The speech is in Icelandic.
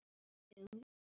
Fyrir hvaða afköst?